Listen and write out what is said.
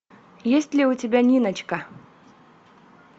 есть ли у тебя ниночка